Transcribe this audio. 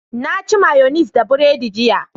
Na ci mayonis da bread jiya